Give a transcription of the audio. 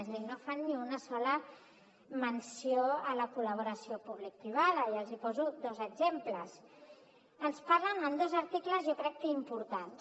és a dir no fan ni una sola menció a la col·laboració publicoprivada i els en poso dos exemples en dos articles jo crec que importants